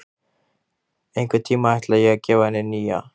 Einhvern tímann ætla ég að gefa henni nýja.